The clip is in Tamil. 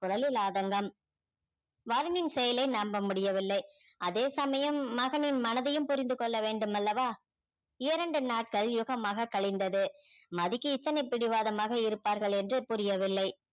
முதலில் ஆதங்கம் வருணின் செயலை நம்ப முடியவில்லை அதேசமயம் மகனின் மனதையும் புரிந்து கொள்ள வேண்டும் அல்லவா இரண்டு நாட்கள் யுகமாக கழிந்தது மதிக்கு இத்தனை பிடிவாதமாக இருப்பார்கள் என்று புரியவில்லை